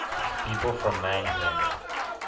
people from mannheim